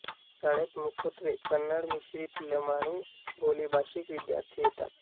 शाळेत मुखत्वे कन्नड मिश्रीत लमाणी बोलीभाषीक विद्यार्थी येतात